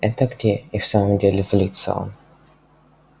это где и в самом деле злится он